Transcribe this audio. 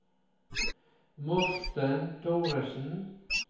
Morten Thoresen